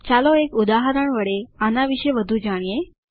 ચાલો એક ઉદાહરણ વડે આના વિશે વધુ જાણીએ